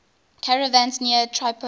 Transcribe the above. caravans near tripoli